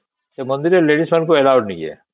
ସେ ମନ୍ଦିର ରେ ladies ମାନଙ୍କୁ allow ନାହିଁ ହେ